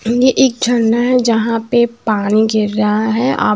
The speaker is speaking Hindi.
ये एक झरना है जहां पे पानी गिर रहा है आप--